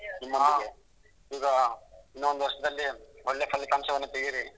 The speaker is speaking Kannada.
ಈಗ ಇನ್ನೊಂದ್ ವರ್ಷದಲ್ಲಿ ಒಳ್ಳೆ ಫಲಿತಾಂಶವನ್ನು ತೆಗಿರಿ.